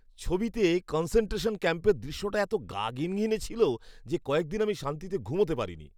ছবিতে কনসেনট্রেশন ক্যাম্পের দৃশ্যটা এত গা ঘিনঘিনে ছিল যে কয়েক দিন আমি শান্তিতে ঘুমাতে পারিনি।